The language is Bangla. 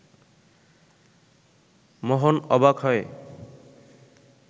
মোহন অবাক হয়ে